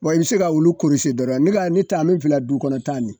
Bon i bi se ka olu dɔrɔn ne ka ni ta min filɛ du kɔnɔ tan nin